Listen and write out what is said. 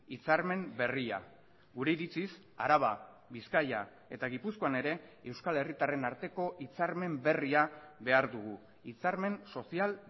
hitzarmen berria gure iritziz araba bizkaia eta gipuzkoan ere euskal herritarren arteko hitzarmen berria behar dugu hitzarmen sozial